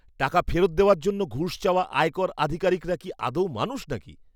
টাকা ফেরত দেওয়ার জন্য ঘুষ চাওয়া আয়কর আধিকারিকরা কি আদৌ মানুষ নাকি!